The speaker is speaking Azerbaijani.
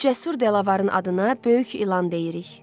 Bu cəsur delavarın adına Böyük İlan deyirik.